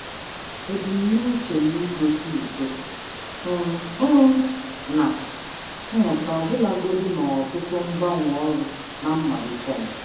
Ana m agbalị igosi uto uto na mmụta ọbụlagodi na m nwere ọtụtụ mgbanwe ọrụ na akwụkwọ ọrụ m.